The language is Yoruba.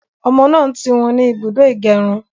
Ọmọ náà ń tirun ní ibùdó ìgérun